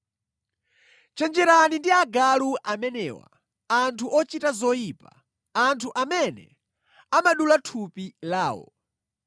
Chenjerani ndi agalu amenewa, anthu ochita zoyipa, anthu amene amadula thupi lawo.